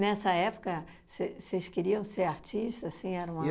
Nessa época, cês vocês queriam ser artistas, assim, era uma